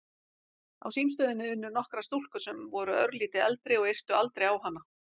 Á símstöðinni unnu nokkrar stúlkur sem voru örlítið eldri og yrtu aldrei á hana.